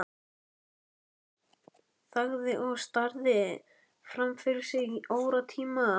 Jóhann þagði og starði fram fyrir sig í óratíma.